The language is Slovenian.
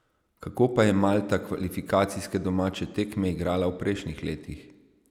Kako pa je Malta kvalifikacijske domače tekme igrala v prejšnjih letih?